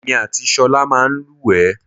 Èmi àti ṣọ̀lá máa ń lúwẹ̀ẹ́.